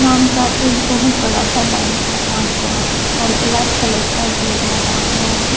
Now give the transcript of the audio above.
नाम का एक बहुत बड़ा सा बैनर लगा हुआ है और ब्लैक कलर का गेट लगा हुआ है।